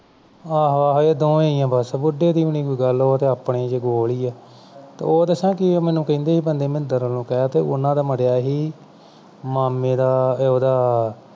ਆਹੋ-ਆਹੋ ਇਹ ਦੋਨੋਂ ਹੀ ਹੈ ਬੁੱਢੇ ਦੀ ਵੀ ਨਹੀਂ ਕੋਈ ਗੱਲ ਉਹ ਆਪਣੀ ਦੇ ਵਿਚ ਗੋਲ ਹੀ ਆਰ ਤੇ ਉਹ ਮੈਨੂੰ ਦਸਾਂ ਮੈਨੂੰ ਕਹਿੰਦੇ ਸੀ ਬੰਦੇ ਮੰਦਰ ਵੱਲੋਂ ਕੈਹ ਤੇ ਉਨ੍ਹਾਂ ਦਾ ਮਰਿਆ ਸੀ ਮਾਮੇ ਦਾ ਅਹੁਦਾ